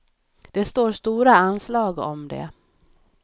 Det står stora anslag om det.